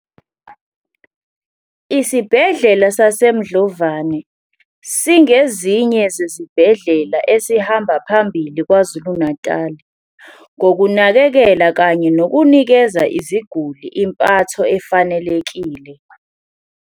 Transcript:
Isibhedlela sasemdlovane singezinye zezibhedlela esihamba phambili Kwazulu-Natal, ngokunakekela kanye nokunikeza iziguli impatho efanelekile.